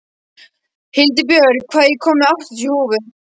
Hildibjörg, ég kom með áttatíu húfur!